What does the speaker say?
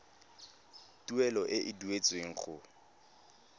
tuelo e e duetsweng go